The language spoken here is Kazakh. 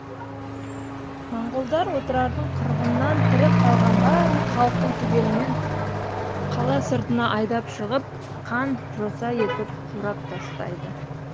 моңғолдар отырардың қырғыннан тірі қалған барлық халқын түгелімен қала сыртына айдап шығып қан жоса етіп турап тастайды